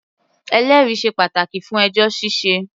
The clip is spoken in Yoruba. Ẹlẹ́rìí sé pàtàkì fún ẹjọ́ ṣíṣẹ.